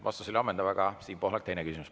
Vastus oli ammendav, aga Siim Pohlakul on teine küsimus.